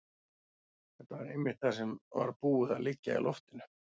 Þetta var einmitt það sem var búið að liggja í loftinu.